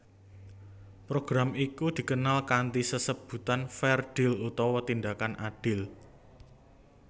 Program iku dikenal kanthi sesebutan Fair Deal utawa Tindakan Adil